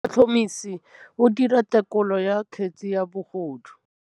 Motlhotlhomisi o dira têkolô ya kgetse ya bogodu.